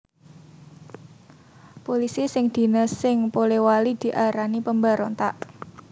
Pulisi sing dines sing Polewali diarani pemberontak